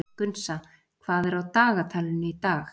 Gunnsa, hvað er á dagatalinu í dag?